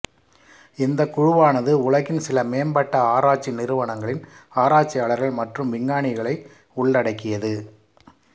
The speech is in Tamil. இந்த குழுவானது உலகின் சில மேம்பட்ட ஆராய்ச்சி நிறுவனங்களின் ஆராய்ச்சியாளர்கள் மற்றும் விஞ்ஞானிகளை உள்ளடக்கியது